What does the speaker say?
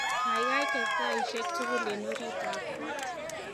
Kaikai ker taishek tugul eng orit ab kot